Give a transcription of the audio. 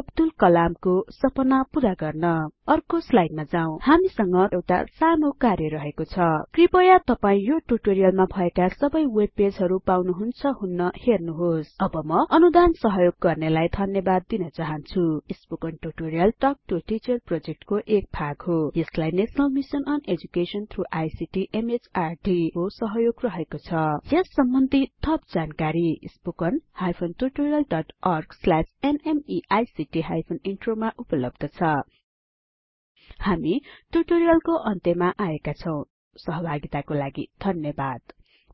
अब्दुल कलम को सपना पूरा गर्न अर्को स्लाइडमा जाउँ हामीसँग तपाइको लागि एउटा सानो कार्य रहेको छ कृपया तपाई यो टुटोरियलमा भएका सबै वेबपेजहरु पाउनुहुन्छ हुन्न हेर्नुहोस् अब म अनुदान सहयोग गर्नेलाई धन्यबाद दिन चाहन्छु spoken tutorial talk to a teacher प्रोजेक्टको एक भाग हो यसलाई national mission on education through ICT MHRD government of India को सहयोग रहेको छ यस सम्बन्धि थप जानकारी spoken tutorialorgnmeict इन्ट्रो मा उपलब्ध छ हामी टुटोरियलको अन्त्यमा आएका छौं सहभागिताको लागि धन्यवाद